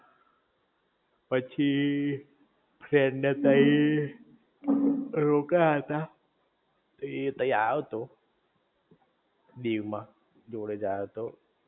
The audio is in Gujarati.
પછી ફ્રેન્ડ ને તય રોકાયા તા એ તય આયો તો દીવ મા જોડે જ આયો તો